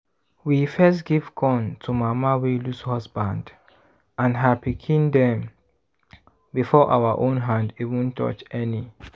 we first give corn to mama wey lose husband and her pikin dem before our own hand even touch any.